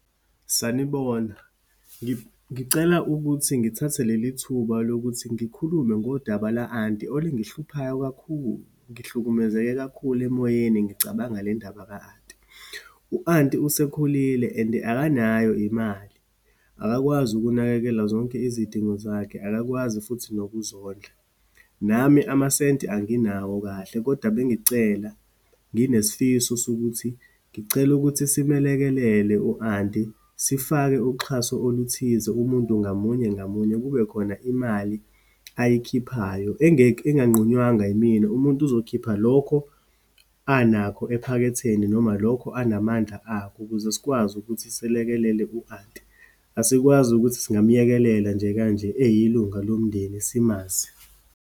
Sanibona, ngicela ukuthi ngithathe leli thuba lokuthi ngikhulume ngodaba la-anti, olingihluphayo kakhulu. Ngihlukumezeke kakhulu emoyeni, ngicabanga le ndaba ka-anti. U-anti usekhulile and akanayo imali, akakwazi ukunakekela zonke izidingo zakhe, akakwazi futhi nokuzondla. Nami amasenti anginawo kahle, kodwa bengicela, nginesifiso sokuthi ngicela ukuthi simlekelele u-anti, sifake uxhaso oluthize. Umuntu ngamunye ngamunye kubekhona imali ayikhiphayo engekho, enganqunywanga imina. Umuntu uzokhipha lokho anakho ephaketheni noma lokho anamandla akho, ukuze sikwazi ukuthi silekelele u-anti. Asikwazi ukuthi singamyekelela nje kanje eyilunga lomndeni, simazi.